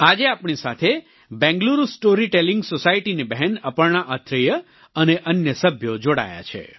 આજે આપણી સાથે બેંગલુરુ સ્ટોરી ટેલિંગ societyની બહેન અપર્ણા અત્રેય અને અન્ય સભ્યો જોડાયા છે